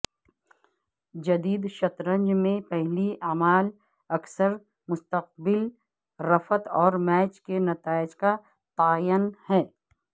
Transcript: جدید شطرنج میں پہلی اعمال اکثر مستقبل رفت اور میچ کے نتائج کا تعین ہے